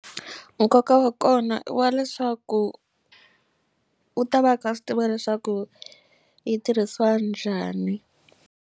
Nkoka wa kona i wa leswaku u ta va kha a swi tiva leswaku yi tirhisiwa njhani.